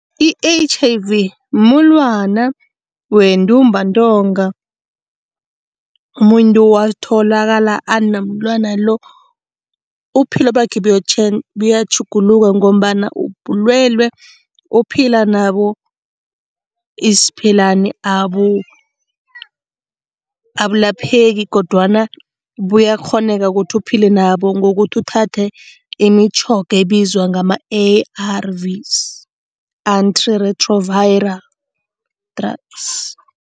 I-H_I_V mumulwana wentumbantonga. Umuntu watholakala anomulwana lo, ubuphilo bakhe buyatjhuguluka ngombana bulwelwe ophila nabo isiphelani, abulapheki kodwana buyakghoneka ukuthi uphile nabo ngokuthi uthathe imitjhoga ebizwa ngama-A_R_Vs, antiretroviral drugs.